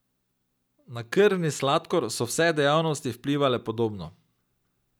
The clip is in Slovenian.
Na krvni sladkor so vse dejavnosti vplivale podobno.